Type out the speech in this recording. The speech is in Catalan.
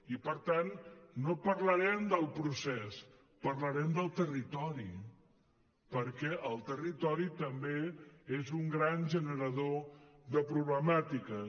i per tant no parlarem del procés parlarem del territori perquè el territori també és un gran generador de problemàtiques